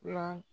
Yan